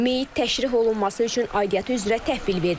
Meyit təşrih olunması üçün aidiyyatı üzrə təhvil verilib.